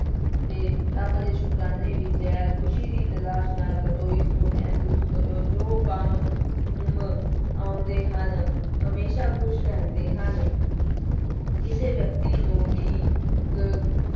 ਤੇ ਰੱਬ ਦੇ ਸੁਕਰਾਨੇ ਵਿੱਚ ਹੈ, ਖ਼ੁਸ਼ੀ ਦੀ ਤਲਾਸ਼ ਨਾ ਕਰੋ ਇਸਨੂੰ ਮਹਿਸੂਸ ਕਰੋ, ਜੋ ਕੰਮ ਮ ਆਉਂਦੇ ਹਨ, ਹਮੇਸ਼ਾ ਖ਼ੁਸ਼ ਰਹਿੰਦੇ ਹਨ ਕਿਸੇ ਵਿਅਕਤੀ ਨੂੰ ਵੀ ਕ